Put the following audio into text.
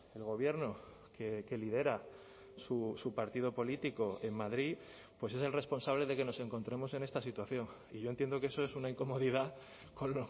el gobierno que lidera su partido político en madrid pues es el responsable de que nos encontremos en esta situación y yo entiendo que eso es una incomodidad con